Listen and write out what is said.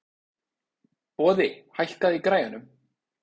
Boði, hækkaðu í græjunum.